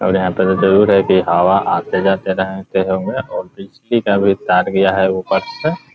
और यहाँ पर भी जरूर है की हवा आते-जाते रहते होंगे और बिजली का भी तार गया है ऊपर से ।